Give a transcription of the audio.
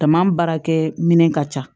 Tama baarakɛ minɛn ka ca